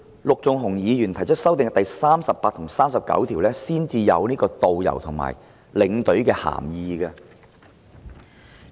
陸頌雄議員的修正案，到《條例草案》第38及39條才說明導遊及領隊的涵義。